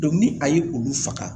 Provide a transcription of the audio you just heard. ni a ye olu faga